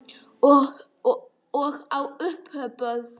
Og á uppboð.